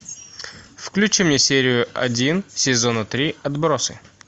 включи мне серию один сезона три отбросы